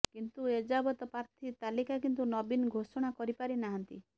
କିନ୍ତୁ ଏଯାବତ ପ୍ରାର୍ଥୀ ତାଲିକା କିନ୍ତୁ ନବୀନ ଘୋଷଣା କରିପାରିନାହାନ୍ତି